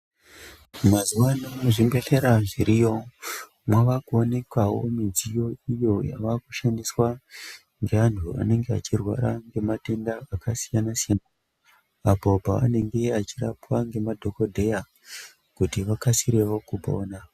Mazuwano muzvimbehlera zviriyo mwava kuonekwawo midziyo iyo yava kushandiswa ngeantu vane matenda akasiyana siyana, apo pavanenge achirapwa ngemadhokodheya kuti vakasirevo kupona.